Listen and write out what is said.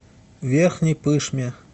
верхней пышме